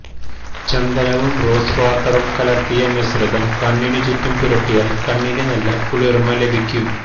ചന്ദനവും rose വാട്ടറും കലര്ത്തിയ മിശ്രിതം കണ്ണിനു ചുറ്റും പുരട്ടിയാല് കണ്ണിന് നല്ല കുളിര്മ ലഭിക്കും